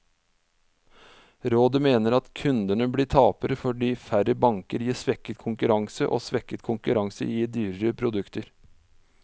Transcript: Rådet mener at kundene blir tapere, fordi færre banker gir svekket konkurranse, og svekket konkurranse gir dyrere produkter.